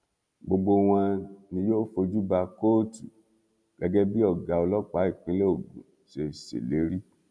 gbogbo wọn ni yóò fojú ba kóòtù gẹgẹ bí ọgá ọlọpàá ìpínlẹ ogun ṣe ṣèlérí